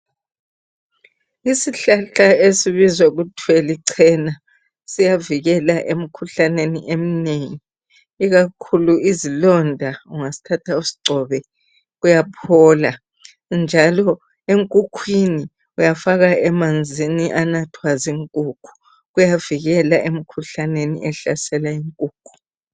Isihlahla esibizwa kuthwa licena siyavikela emkhuhlaneni eminengi ikakhulu izilonda ungasithatha usigcobe kuyaphola njalo enkukhwini uyafaka emanzini anathwa zinkukhu kuyavikela emkhuhlaneni ehlasela inkukhu.